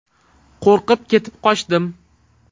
Qo‘rqib ketib qochdim.